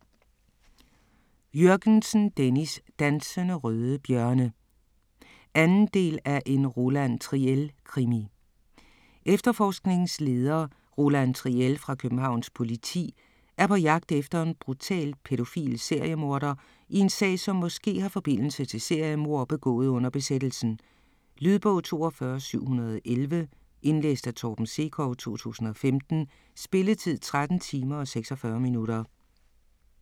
Jürgensen, Dennis: Dansende røde bjørne 2. del af En Roland Triel krimi. Efterforskningsleder Roland Triel fra Københavns politi er på jagt efter en brutal pædofil seriemorder i en sag som måske har forbindelse til seriemord begået under besættelsen. Lydbog 42711 Indlæst af Torben Sekov, 2015. Spilletid: 13 timer, 46 minutter.